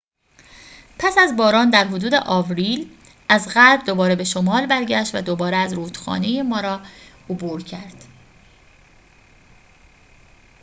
پس از باران در حدود آوریل از غرب دوباره به شمال برگشت و دوباره از رودخانه مارا عبور کرد